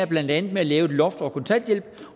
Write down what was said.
blandt andet med at lægge et loft over kontanthjælpen